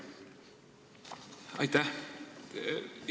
Aitäh!